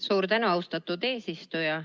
Suur tänu, austatud eesistuja!